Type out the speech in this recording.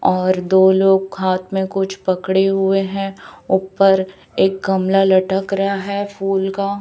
और दो लोग हाथ में कुछ पकड़े हुए हैं ऊपर एक गमला लटक रहा है फूल का।